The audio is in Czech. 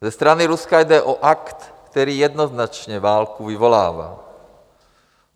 Ze strany Ruska jde o akt, který jednoznačně válku vyvolává.